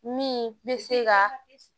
Min bɛ se ka